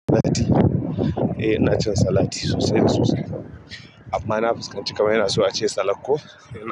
Eh ina cin salati sosai sosai. Amma na fuskanci kamar yana so a ce salak ko yana.